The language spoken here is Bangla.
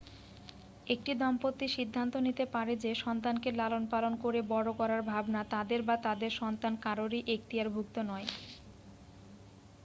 একটি দম্পতি সিদ্ধান্ত নিতে পারে যে সন্তানকে লালন পালন করে বড় করার ভাবনা তাদের বা তাদের সন্তান কারোরই এক্তিয়ারভুক্ত নয়